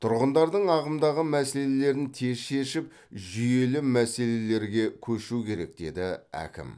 тұрғындардың ағымдағы мәселелерін тез шешіп жүйелі мәселелерге көшу керек деді әкім